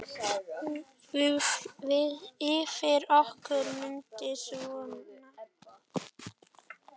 Yfir okkur muntu sveima.